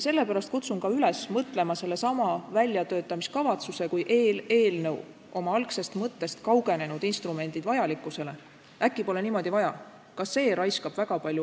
Sellepärast ma kutsun üles mõtlema väljatöötamiskavatsuse, oma algsest mõttest kaugenenud instrumendi vajalikkusele – äkki pole seda sellisena vaja.